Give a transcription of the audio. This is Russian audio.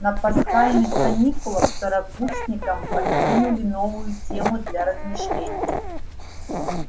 на пасхальных каникулах второкурсникам подкинули новую тему для размышлений